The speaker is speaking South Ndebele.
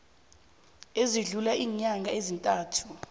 esidlula iinyanga ezintathu